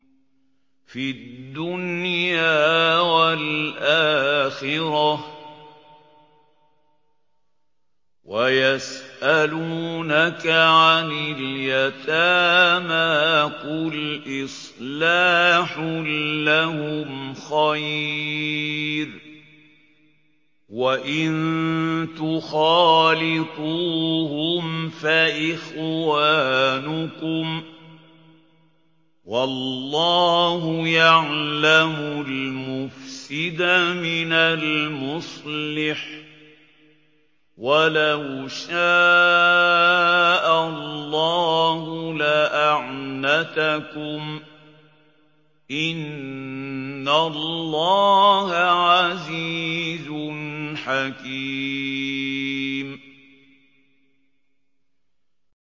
فِي الدُّنْيَا وَالْآخِرَةِ ۗ وَيَسْأَلُونَكَ عَنِ الْيَتَامَىٰ ۖ قُلْ إِصْلَاحٌ لَّهُمْ خَيْرٌ ۖ وَإِن تُخَالِطُوهُمْ فَإِخْوَانُكُمْ ۚ وَاللَّهُ يَعْلَمُ الْمُفْسِدَ مِنَ الْمُصْلِحِ ۚ وَلَوْ شَاءَ اللَّهُ لَأَعْنَتَكُمْ ۚ إِنَّ اللَّهَ عَزِيزٌ حَكِيمٌ